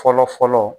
Fɔlɔ fɔlɔ